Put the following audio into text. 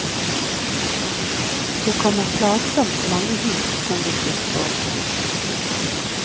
Det kommer plagsomt mange hit som vil bli spådd.